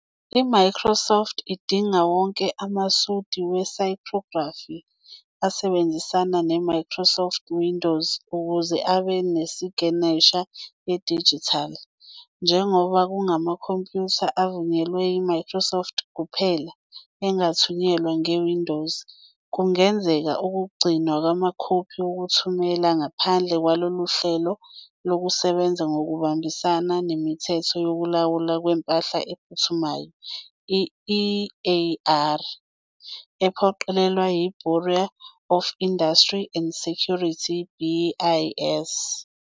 IMicrosoft idinga wonke amasudi we-cryptography asebenzisana ne- Microsoft Windows ukuze abe nesiginesha yedijithali. Njengoba kungamakhompiyutha avunyelwe yiMicrosoft kuphela angathunyelwa ngeWindows, kungenzeka ukugcina amakhophi wokuthumela ngaphandle kwalolu hlelo lokusebenza ngokuhambisana neMithetho Yokulawulwa Kwempahla Ephumayo, EAR, ephoqelelwa yi- Bureau of Industry and Security, BIS.